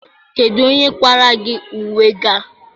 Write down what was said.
Kedu onye kwara gị uwe gị a?